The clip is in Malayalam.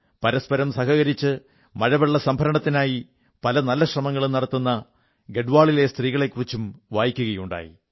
പരസ്പരം സഹകരിച്ച് മഴവെള്ളസംഭരണത്തിനായി പല നല്ല ശ്രമങ്ങളും നടത്തുന്ന ഗഢ്വാളിലെ സ്ത്രീകളെക്കുറിച്ചും വായിക്കയുണ്ടായി